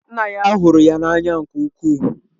Nna ya hụrụ ya n'anya nke ukwuu.